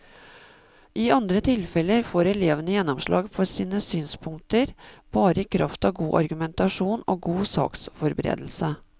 I andre tilfeller får elevene gjennomslag for sine synspunkter bare i kraft av god argumentasjon og god saksforberedelse.